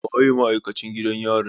Waye ma'aikacin gidan yarin?